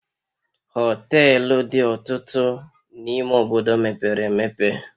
Hoteluu dị ọtụtụ n'ime obodo mepere emepe